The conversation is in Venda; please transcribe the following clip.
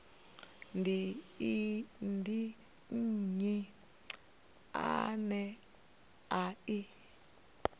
ndi nnyi ane a i